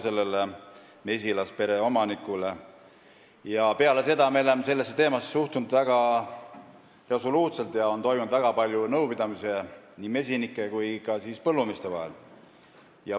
Peale seda juhtumit me oleme sellesse teemasse suhtunud väga resoluutselt ja on toimunud väga palju nõupidamisi mesinike ja põllumeeste vahel.